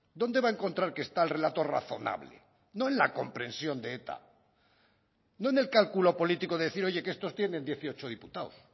dónde va a encontrar que está el relato razonable no en la comprensión de eta no en el cálculo político de decir oye que estos tienen dieciocho diputados